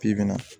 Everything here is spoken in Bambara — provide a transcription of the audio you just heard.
F'i bin bɛ na